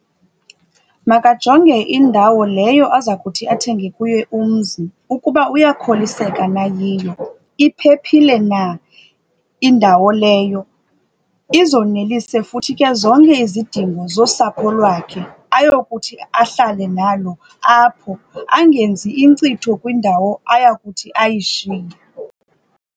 Makajonge indawo leyo aza kuthi athenge kuyo umzi ukuba uyakholiseka na yiyo, iphephile na indawo leyo. Izonelise futhi ke zonke izidingo zosapho lwakhe ayokuthi ahlale nalo apho, angenzi inkcitho kwindawo ayakuthi ayishiye.